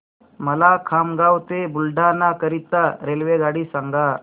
मला खामगाव ते बुलढाणा करीता रेल्वेगाडी सांगा